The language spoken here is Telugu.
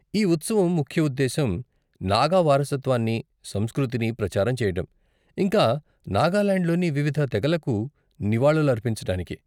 ఈ ఉత్సవం ముఖ్య ఉద్దేశ్యం నాగా వారసత్వాన్ని, సంస్కృతిని ప్రచారం చేయటం, ఇంకా నాగాలాండ్లోని వివిధ తెగలకు నివాళులర్పించటానికి.